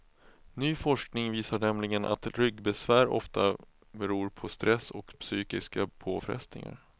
Ny forskning visar nämligen att ryggbesvär ofta beror på stress och psykiska påfrestningar.